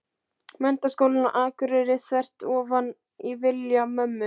Menntaskólann á Akureyri, þvert ofan í vilja mömmu.